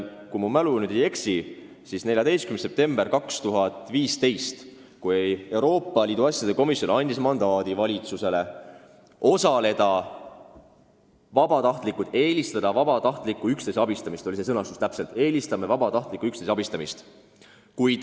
Kui mälu mind ei peta, siis 14. septembril 2015, kui Euroopa Liidu asjade komisjon andis valitsusele mandaadi eelistada vabatahtlikku üksteise abistamist, oli see sõnastus täpselt selline: eelistame vabatahtlikku üksteise abistamist.